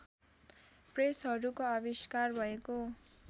प्रेसहरूको आविष्कार भएको